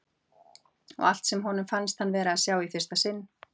Og á allt sem honum fannst hann vera að sjá í fyrsta sinn.